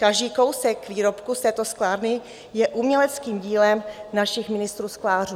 Každý kousek výrobku z této sklárny je uměleckým dílem našich mistrů sklářů.